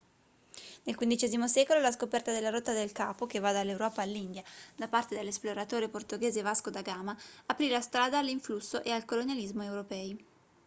nel xv secolo la scoperta della rotta del capo che va dall'europa all'india da parte dell'esploratore portoghese vasco da gama aprì la strada all'influsso e al colonialismo europei